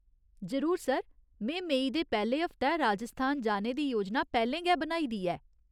जरूर, सर। में मेई दे पैह्‌ले हफ्तै राजस्थान जाने दी योजना पैह्‌लें गै बनाई दी ऐ।